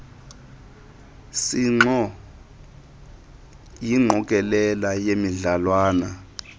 sinxo yingqokelela yemidlalwana